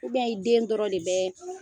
i den dɔrɔn de bɛɛ